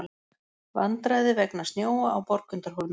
Vandræði vegna snjóa á Borgundarhólmi